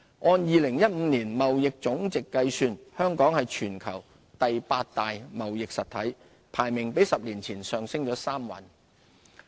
按2015年貿易總值計算，香港是全球第八大貿易實體，排名比10年前上升3位。